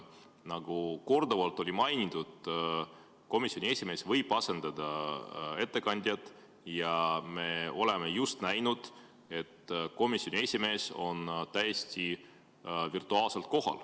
Nagu korduvalt mainitud, komisjoni esimees võib ettekandjat asendada ja me oleme just näinud, et komisjoni esimees on täiesti virtuaalselt kohal.